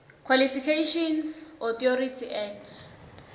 qualifications authority act